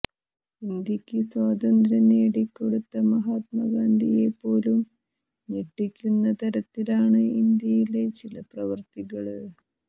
ഇന്ത്യക്ക് സ്വാതന്ത്രം നേടിക്കൊടുത്ത മഹാത്മാ ഗാന്ധിയെപ്പോലും ഞെട്ടിപ്പിക്കുന്ന തരത്തിലാണ് ഇന്ത്യയിലെ ചില പ്രവര്ത്തികള്